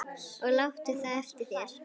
Og láttu það eftir þér.